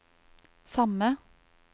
samme